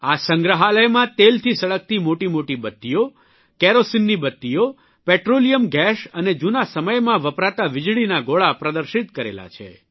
આ સંગ્રહાલયમાં તેલથી સળગતી મોટી મોટી બત્તીઓ કેરોસીનની બત્તીઓ પેટ્રોલિયમ ગેસ અને જૂના સમયમાં વપરાતા વીજળીના ગોળા પ્રદર્શિત કરેલા છે